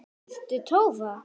Ertu Tólfa?